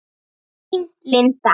Þín Linda.